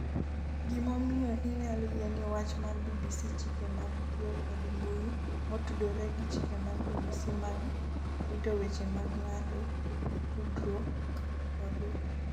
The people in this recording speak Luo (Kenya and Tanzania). Gimomiyo inyalo yie gi Wach mag BBC Chike mag tiyo kod mbui Motudore gi Chike mag BBC mag rito weche mag ng’ato Kuki Tudruok kodwa.